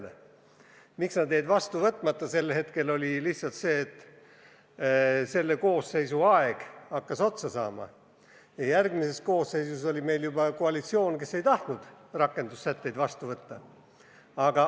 Põhjus, miks need jäid tookord vastu võtmata, oli lihtsalt see, et selle koosseisu aeg hakkas otsa saama ja järgmises koosseisus oli juba koalitsioon, kes ei tahtnud rakendussätteid vastu võtta.